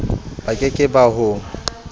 ba ke ke ba ho